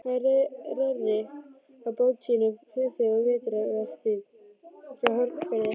Hann reri á bát sínum, Friðþjófi, á vetrarvertíð frá Hornafirði.